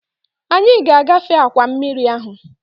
Anyị ga-agafe akwa mmiri ahụ